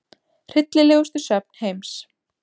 Hryllilegustu söfn heims